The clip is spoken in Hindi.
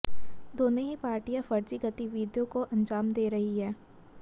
दोनों ही पार्टियां फर्जी गतिविधियों को अंजाम दे रही हैं